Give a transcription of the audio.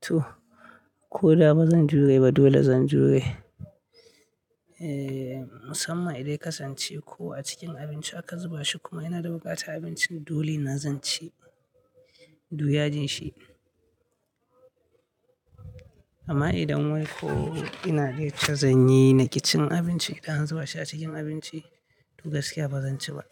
Toh, ko da bazan jure ba dole zan jure. Eh, musamman idan ya kasance ko a cikin abinci aka zuba shi kuma ina da buƙatar abincin dole na zan ci. Du yajin shi. Amma idan wai ko ina da yacce zan yi naƙicin abinci idan an zuba shi a cikin abinci to gaskiya ba zan ci ba.